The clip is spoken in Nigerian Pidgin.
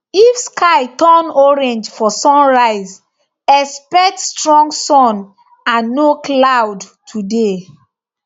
if sky turn orange for sunrise expect strong sun and no cloud today